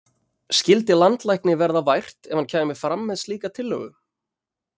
Skyldi landlækni verða vært ef hann kæmi fram með slíka tillögu?